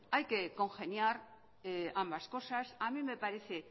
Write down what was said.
hay que congeniar ambas cosas a mí me parece